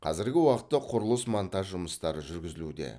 қазіргі уақытта құрылыс монтаж жұмыстары жүргізілуде